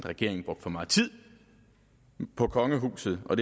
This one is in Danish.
regeringen brugte for meget tid på kongehuset og